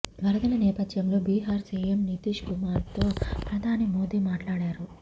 వరదల నేపథ్యంలో బీహార్ సీఎం నితీశ్ కుమార్తో ప్రధాని మోడీ మాట్లాడారు